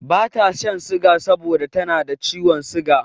Bata shan siga saboda tana da ciwon siga.